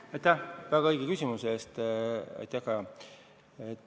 Aitäh väga õige küsimuse eest, Kaja!